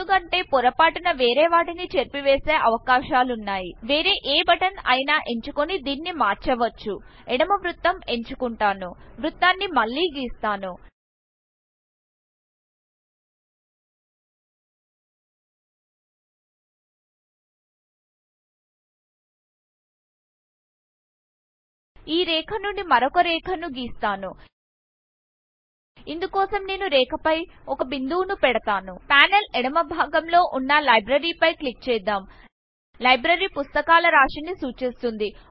ఎందుకంటే పొరపాటున వేరే వాటిని చెరిపేసే అవకాశాలున్నాయ్ వేరే ఎ బటన్ అయిన ఎంచుకొని దీన్ని మార్చవచ్చు ఎడమ వృత్తం ఎంచుకుంటాను వృత్తాని మళ్లీ గీస్తాను ఈ రేఖ నుండి మరొక రేఖను గీస్తాను ఇందు కోసం నేను రేఖ ఫై ఒక బిందువును పెడతాను పానెల్ ఎడమ భాగం లో వున్నlibrary ఫై క్లిక్ చేద్దాం లైబ్రరీ పుస్తకాల రాశిని సూచిస్తుంది